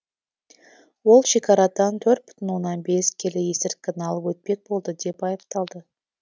ол шекарадан төрт бүтін оннан бес келі есірткіні алып өтпек болды деп айыпталды